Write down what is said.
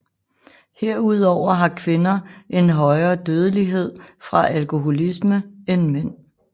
Herudover har kvinder en højere dødelighed fra alkoholisme end mænd